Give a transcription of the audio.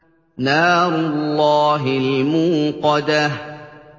نَارُ اللَّهِ الْمُوقَدَةُ